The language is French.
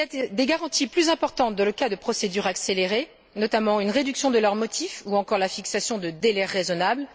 des garanties plus importantes dans le cas de procédures accélérées, notamment une réduction de leurs motifs ou encore la fixation de délais raisonnables.